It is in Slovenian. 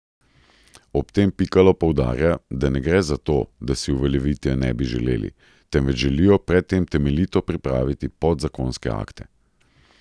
Ob tem Pikalo poudarja, da ne gre za to, da si uveljavitve ne bi želeli, temveč želijo pred tem temeljito pripraviti podzakonske akte.